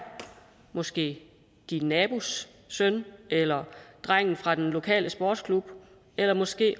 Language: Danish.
måske din nabos søn eller drengen fra den lokale sportsklub eller måske